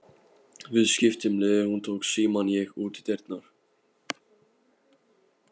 Við skiptum liði, hún tók símann, ég útidyrnar.